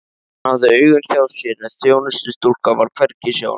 Hann hafði augun hjá sér en þjónustustúlkan var hvergi sjáanleg.